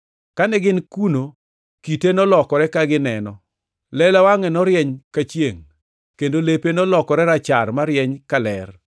Kane gin kuno kite nolokore ka gineno. Lela wangʼe norieny ka chiengʼ, kendo lepe nolokore rachar marieny ka ler.